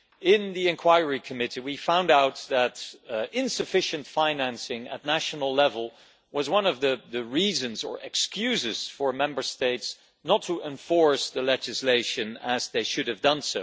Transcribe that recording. In the inquiry committee we found out that insufficient financing at national level was one of the reasons, or excuses, for Member States not to enforce the legislation as they should have done.